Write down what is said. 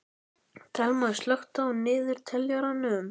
Thelma, slökktu á niðurteljaranum.